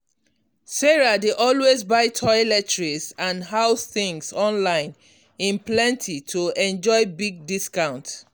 sarah dey always buy toiletries and house things online in plenty to enjoy big discount.